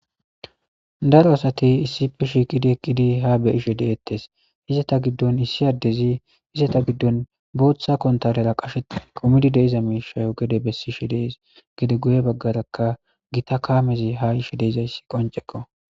Daro asti issipe Eqidi Shiqidi beyishe De'etes izeta Gidon issi adezi izeta Gidon Botha kontalera Qasheti kumidi De'etes Mishay Gede bessishe de'es Gede Guye bagaraka Gita kamezi Ha yishe de'izaysako Qoncceko